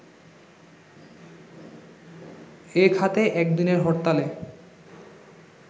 এ খাতে একদিনের হরতালে